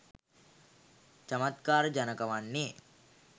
චමත්කාරජනක වන්නේ